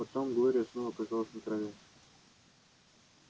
потом глория снова оказалась на траве